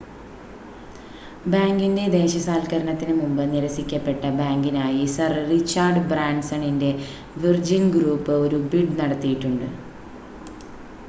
ബാങ്കിൻ്റെ ദേശസാൽക്കരണത്തിന് മുമ്പ് നിരസിക്കപ്പെട്ട ബാങ്കിനായി സർ റിച്ചാർഡ് ബ്രാൻസണിൻ്റെ വിർജിൻ ഗ്രൂപ്പ് ഒരു ബിഡ് നടത്തിയിട്ടുണ്ട്